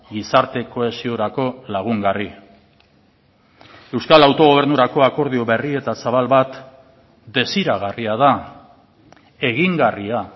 gizarte kohesiorako lagungarri euskal autogobernurako akordio berri eta zabal bat desiragarria da egingarria